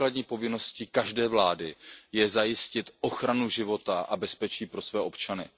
Základní povinností každé vlády je zajistit ochranu života a bezpečí pro své občany.